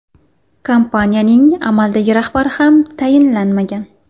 Kompaniyaning amaldagi rahbari ham tayinlanmagan.